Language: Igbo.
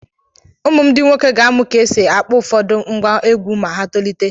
Ụmụ m ndị nwoke ga-àmụ̀ ka e si akpọ ụfọdụ ngwá egwú ma ha tolite.